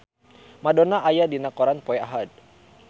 Madonna aya dina koran poe Ahad